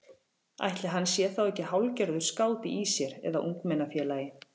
Ætli hann sé þá ekki hálfgerður skáti í sér eða ungmennafélagi.